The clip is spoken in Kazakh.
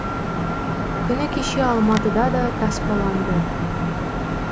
күні кеше алматыда да таспаланды